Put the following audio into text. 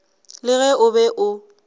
le ge o be o